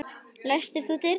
Læstir þú dyrunum?